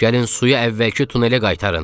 Gəlin suyu əvvəlki tunelə qaytarın.